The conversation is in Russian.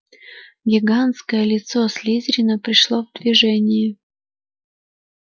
гигантское лицо слизерина пришло в движение